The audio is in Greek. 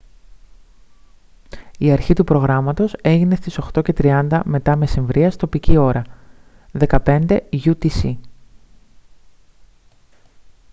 η αρχή του προγράμματος έγινε στις 8:30 μ.μ. τοπική ώρα 15:00 utc